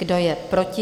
Kdo je proti?